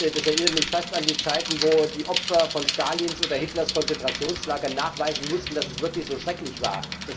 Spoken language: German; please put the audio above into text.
Das erinnert mich fast an die Zeiten, als die Opfer von Stalins oder Hitlers Konzentrationslagern nachweisen mussten, dass es wirklich so schrecklich war.